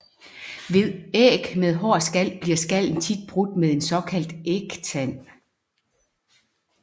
Ved æg med hård skal bliver skallen tit brudt med en såkaldt ægtand